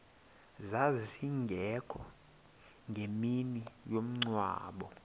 zazingekho ngemini yomngcwabo